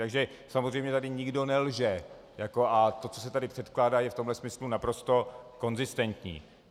Takže samozřejmě tady nikdo nelže a to, co se tady předkládá, je v tomto smyslu naprosto konzistentní.